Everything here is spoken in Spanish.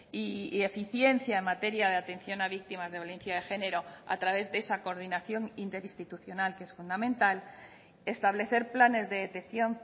y eficiencia en materia de atención a víctimas de violencia de género a través de esa coordinación interinstitucional que es fundamental establecer planes de detección